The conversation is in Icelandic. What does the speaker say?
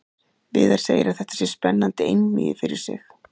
Viðar segir að þetta sé spennandi einvígi fyrir sig.